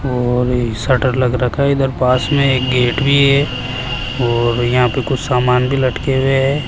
और इ शटर लगा रखा है इधर पास में एक गेट भी है और यहां पे कुछ सामान भी लटके हुए हैं।